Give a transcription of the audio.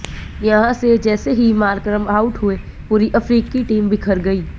यहां से जैसे ही मार्करम आउट हुए पूरी अफ्रीकी टीम बिखर गई